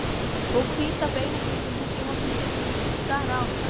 Og hvíta beinagrindin úti í horni virtist stara á mig.